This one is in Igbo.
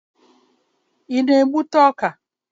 Ị na-egbute ọka?